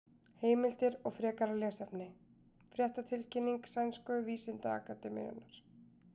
Heimildir og frekara lesefni: Fréttatilkynning Sænsku vísindaakademíunnar.